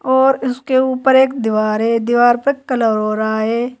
और उसके ऊपर एक दीवार है दीवार पे कलर हो रहा है।